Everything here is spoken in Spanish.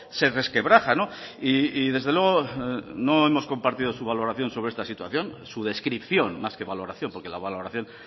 se resquebraja y desde luego no hemos compartido su valoración sobre esta situación su descripción más que valoración porque la valoración